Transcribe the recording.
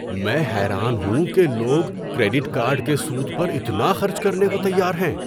میں حیران ہوں کہ لوگ کریڈٹ کارڈ کے سود پر اتنا خرچ کرنے کو تیار ہیں۔